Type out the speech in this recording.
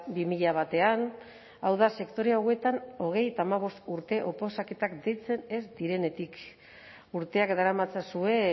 bi mila batean hau da sektore hauetan hogeita hamabost urte oposaketak deitzen ez direnetik urteak daramatzazue